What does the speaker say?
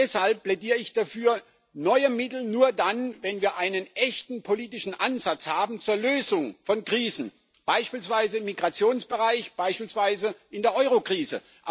Deshalb plädiere ich für neue Mittel nur dann, wenn wir einen echten politischen Ansatz zur Lösung von Krisen haben, beispielsweise im Migrationsbereich, beispielsweise in der Eurokrise.